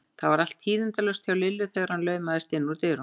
Það var allt tíðindalaust hjá Lillu þegar hann laumaðist inn úr dyrunum.